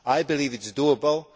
I believe that is doable.